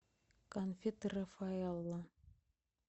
конфеты рафаэлло